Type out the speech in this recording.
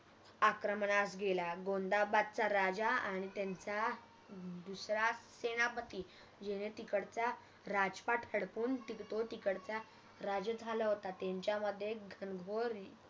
आक्रमनास गेला गोंदाबादचा राजा आणि त्यांचा दूसरा सेनापति ज्याने तिकडचा राजपाठ हडपून तो तिकडचा राजा झाला होता त्यांच्यामध्ये घनघोर